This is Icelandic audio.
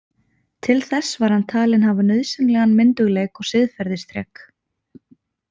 Til þess var hann talinn hafa nauðsynlegan myndugleik og siðferðisþrek.